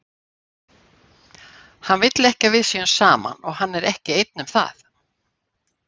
Hann vill ekki að við séum saman, og hann er ekki einn um það.